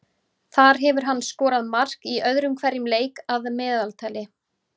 Þar hefur hann skorað mark í öðrum hverjum leik að meðaltali.